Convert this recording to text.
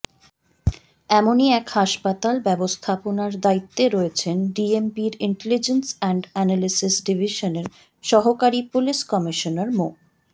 এমনই এক হাসপাতাল ব্যবস্থাপনার দায়িত্বে রয়েছেন ডিএমপির ইন্টেলিজেন্স অ্যান্ড অ্যানালাইসিস ডিভিশনের সহকারী পুলিশ কমিশনার মো